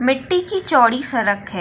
मिट्टी की चौड़ी सड़क है।